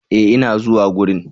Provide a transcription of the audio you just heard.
E! ina zuwa gurin.